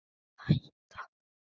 Að hætta?